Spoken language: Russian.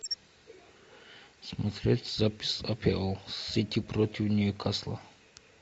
смотреть запись апл сити против ньюкасла